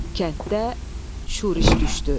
Kənddə şuriş düşdü.